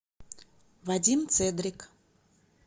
вадим цедрик